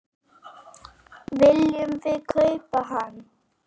Viljum við kaupa hann?